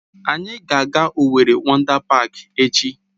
Anyị ga-aga Owerri Wọndá Páák echi